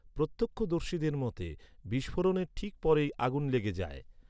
প্রত্যক্ষদর্শীদের মতে, বিস্ফোরণের ঠিক পরেই আগুন লেগে যায়।